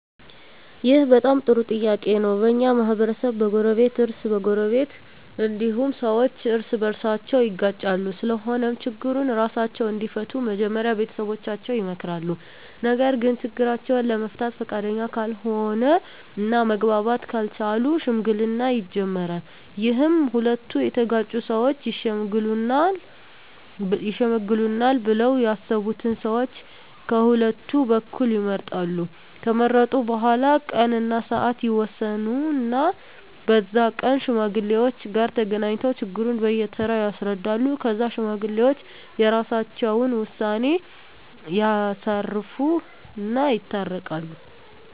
ይህ በጣም ጥሩ ጥያቄ ነው በኛ ማህበረሰብ በጎረቤት እ በጎረቤት እንዲሁም ሠዎች እርስ በርሳቸው ይጋጫሉ ስለሆነም ችግሩን እራሳቸው እንዲፈቱ መጀመሪያ ቤተሠቦቻቸው ይመከራሉ ነገርግ ችግራቸውን ለመፍታት ፈቃደኛ ካልሆነ እና መግባባት ካልቻሉ ሽምግልና ይጀመራል ይህም ሁለቱ የተጋጩ ሠወች ይሽመግሉናል ብለው ያሠቡትን ሠዎች ቀሁለቱ በኩል ይመርጣሉ ከመረጡ በኋላ ቀን እና ስዓት ይወስኑ እና በዛ ቀን ከሽማግሌዎች ጋር ተገናኝተው ችግሩን በየ ተራ ያስረዳሉ ከዛ ሽማግሌዎች የራሰቸውን ውሳኔ ያሳርፉ እና ይታረቃሉ